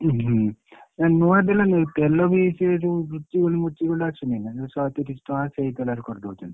ଉଁ ହୁଁ ଏ ନୂଆ ତେଲନୁହେ ତେଲ ବି ସେ ଯୋଉ Ruchi Gold ଫୁଛି gold ଅସୁନି ନା ଯୋଉ ଶହେତିରିଶ ଟଙ୍କା ସେଇ ତେଲରେ କରିଦଉଛନ୍ତି।